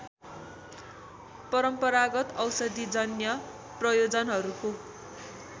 परम्परागत औषधिजन्य प्रयोजनहरूको